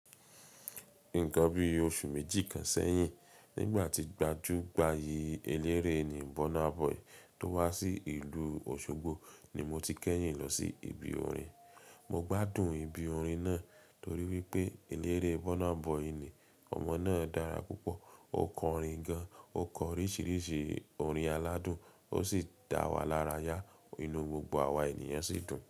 Nǹkan bí oṣù méjì kan sẹ́yìn, nígbà tí gbajúgbayì eléré ni Burna Boy tó wá sí ìlú Òṣogbo ni mo ti kẹ́yìn lọ sí ibi orin. Mo gbádùn ibi orin náà torí wípé eléré Burna Boy ni. Ọmọ náà dára púpọ̀, ó kọ orin gan-an, ó kọ oríṣiríṣi orin aládùn, ó sì dá wa lára yá. Inú gbogbo àwa ènìyàn sì dùn.